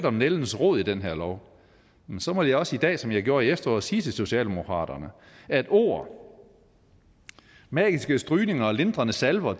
om nældens rod i den her lov så må jeg også i dag som jeg gjorde i efteråret sige til socialdemokraterne at ord magiske strygninger og lindrende salver